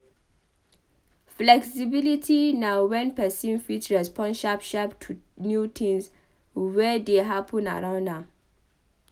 fexibility na wen persin fit respond sharp sharp to new things wey dey happen around am